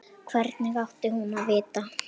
Hvernig átti hún að vita-?